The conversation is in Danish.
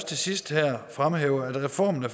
til sidst fremhæve at reformen af